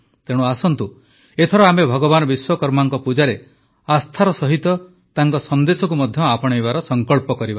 ତେଣୁ ଆସନ୍ତୁ ଏଥର ଆମେ ଭଗବାନ ବିଶ୍ୱକର୍ମାଙ୍କ ପୂଜାରେ ଆସ୍ଥା ସହିତ ତାଙ୍କର ସନ୍ଦେଶକୁ ମଧ୍ୟ ଆପଣାଇବାର ସଂକଳ୍ପ କରିବା